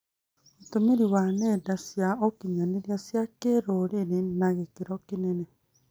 Ũtũmĩri wa nenda cia ũkinyanĩria cia kĩrũrĩrĩ na gĩkĩro kĩnene